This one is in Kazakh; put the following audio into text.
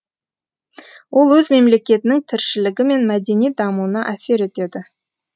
ол өз мемлекетінің тіршілігі мен мәдени дамуына әсер етеді